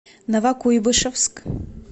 новокуйбышевск